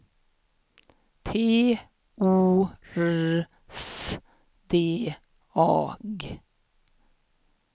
T O R S D A G